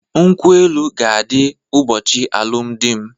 Nkwụ-elụ ka adi ụbochi alụm di m